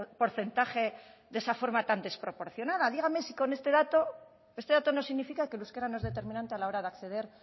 porcentaje de esa forma tan desproporcionada dígame si con este dato este dato no significa que el euskera no es determinante a la hora de acceder